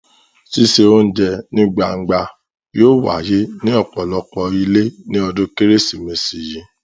Ṣíṣe oúnjẹ ní gbangba yóò wáyé ní ọ̀pọ̀lọpọ̀ ilé ní ọdún Kérésìmesì yìí.